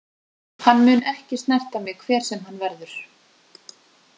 Hann mun ekki snerta mig hver sem hann verður.